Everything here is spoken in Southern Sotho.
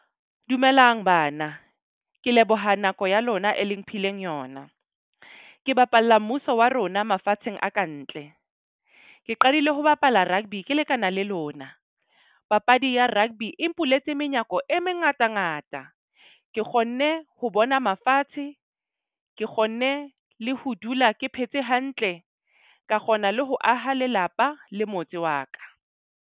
Dumelang bana, ke leboha nako ya lona e leng mphileng yona. Ke bapalla mmuso wa rona mafatsheng a kantle. Ke qadile ho bapala rugby ke lekana le lona. Papadi ya rugby e mpuletse menyako e mengatangata. Ke kgonne ho bona mafatshe. Ke kgonne le ho dula ke phetse hantle, ka kgona le ho aha lelapa le motse wa ka.